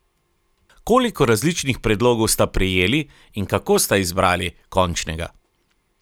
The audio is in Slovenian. Koliko različnih predlogov sta prejeli in kako sta izbrali končnega?